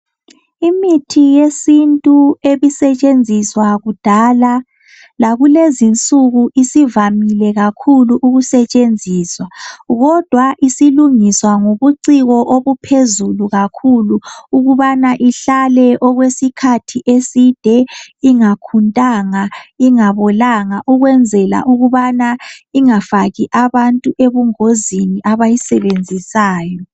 Imithi yesintu ebisetshenziswa kudala lakulezinsuku isivamile kakhulu ukusetshenziswa, kodwa isilungiswa ngobuciko obuphezulu kakhulu ukubana ihlale okwesikhathi eside ingakhuntanga, ingabolanga ukwenzela ukubana ingafaki abantu ebungozini abayisebenzisayo.